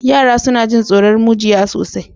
Yara suna jin tsoron mujiya sosai.